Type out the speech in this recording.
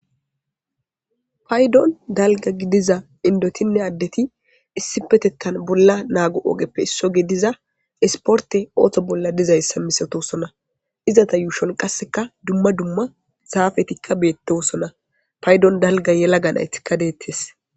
paydon dalga gidiza indotinne addeti issi petettan bolla naago ogeppe isso ge diza isporte ooththo bolla dizayssa misatosona izata yuushon qasseka dumma dumma zaafetikka beettossona paydon dalga yela ga naytikka deettes